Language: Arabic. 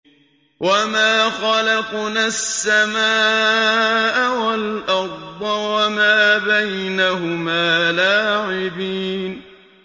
وَمَا خَلَقْنَا السَّمَاءَ وَالْأَرْضَ وَمَا بَيْنَهُمَا لَاعِبِينَ